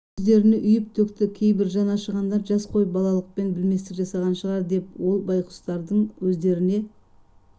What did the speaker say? өздеріне үйіп-төкті кейбір жаны ашығандар жас қой балалықпен білместік жасаған шығар деп ол байқұстардың өздеріне